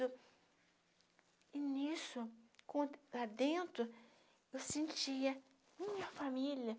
E nisso, lá dentro, eu sentia minha família.